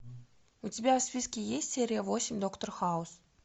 у тебя в списке есть серия восемь доктор хаус